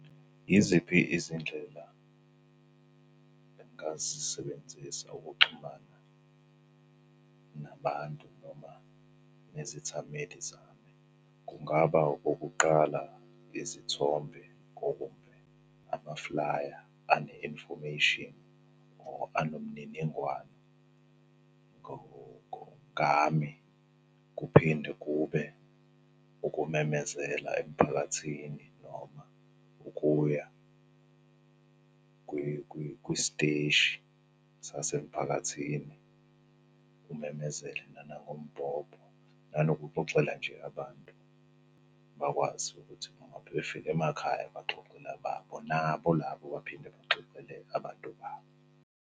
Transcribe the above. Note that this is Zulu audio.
Yiziphi izindlela engingazisebenzisa ukuxhumana nabantu noma nezithameli zami? Kungaba okokuqala, izithombe , amaflaya ane-infomeyshini or anomniningwane ngami. Kuphinde kube ukumemezela emphakathini noma ukuya kwisteshi sasemphakathini. Umemezele nanangombhobho, nanokuxoxela nje abantu bakwazi ukuthi noma bebefika emakhaya baxoxele ababo nabo labo baphinde baxoxele abantu babo.